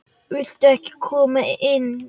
Viltu ekki koma inn?